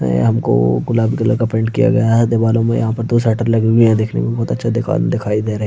ये हमको गुलाबी कलर का पेंट किया गया है दीवारों में यहाँ पर दो शटर लगी हुई है यह देखने में बहुत अच्छा दुकान दिखाई दे र --